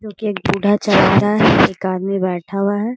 जो कि एक बूढा चला रहा है एक आदमी बैठा हुआ है।